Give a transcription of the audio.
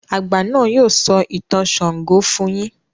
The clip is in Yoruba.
àgbà náà yóò sọ ìtàn ṣàngó fún yín.